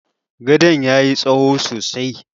Gadon ya yi tsaho sosai.